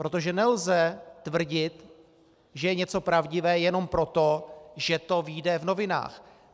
Protože nelze tvrdit, že je něco pravdivé, jenom proto, že to vyjde v novinách.